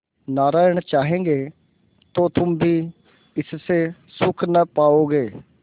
नारायण चाहेंगे तो तुम भी इससे सुख न पाओगे